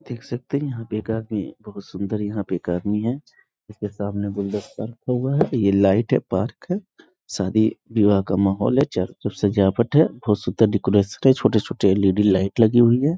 देख सकते हैं यहां पे एक आदमी बहुत सुंदर यहां पे एक आदमी है इसके सामने गुलदस्ता रखा हुआ है ये लाइट है पार्क है शादी विवाह का माहौल है चारों तरफ सजावट है बहुत सुंदर डेकोरेशन है छोटे-छोटे एल.इ.डी. लाइट लगी हुई है।